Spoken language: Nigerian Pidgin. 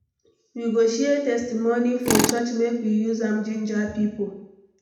We go share testimony for church make we use am jinja pipo.